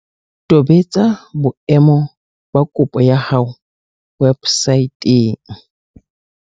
Tobetsa boemo ba kopo ya hao websaeteng.